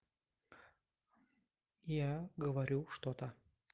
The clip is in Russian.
я говорю что-то